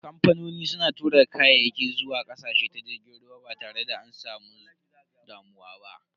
Kamfanoni suna tura kayaki zuwa ƙasashe ta jirgin ruwa ba tare da an samu damuwa ba.